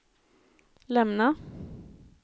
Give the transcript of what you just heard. lämna